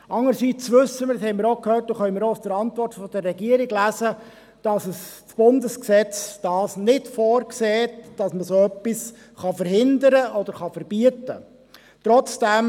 Andererseits wissen wir – das haben wir auch gehört und können es auch der Antwort der Regierung entnehmen –, dass das Bundesgesetz nicht vorsieht, dass man so etwas verhindern oder verbieten kann.